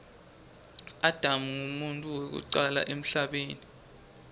adam nqumuntfu wekucala emhlabeni